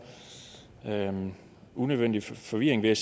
unødvendig forvirring vil